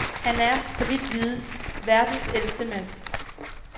Han er, så vidt vides, verdens ældste mand.